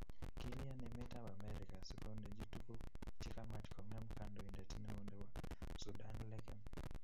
Kilyan emetab America sikondechi tukuk chekamach kongem kandoindet neo nebo Sudan lakam